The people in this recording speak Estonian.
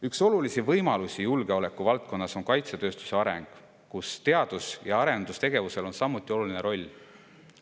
Üks olulisi võimalusi julgeolekuvaldkonnas on kaitsetööstuse areng, kus teadus- ja arendustegevusel on samuti oluline roll.